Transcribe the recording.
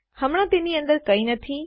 હમણાં તેની અંદર કંઈ નથી